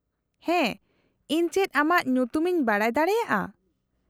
-ᱦᱮᱸ, ᱤᱧ ᱪᱮᱫ ᱟᱢᱟᱜ ᱧᱩᱛᱩᱢ ᱤᱧ ᱵᱟᱰᱟᱭ ᱫᱟᱲᱮᱭᱟᱜᱼᱟ ?